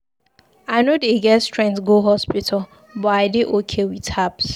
I no dey get strength go hospital but I dey okay with herbs.